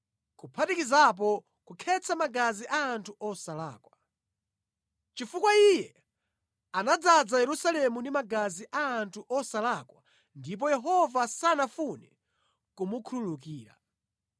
kuphatikizapo kukhetsa magazi a anthu osalakwa. Chifukwa iye anadzaza Yerusalemu ndi magazi a anthu osalakwa ndipo Yehova sanafune kumukhululukira.